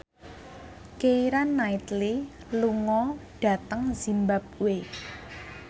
Keira Knightley lunga dhateng zimbabwe